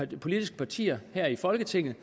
de politiske partier her i folketinget